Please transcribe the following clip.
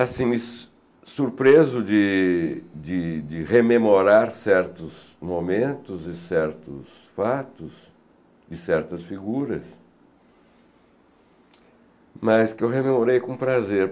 assim, su surpreso de de rememorar certos momentos e certos fatos e certas figuras, mas que eu rememorei com prazer.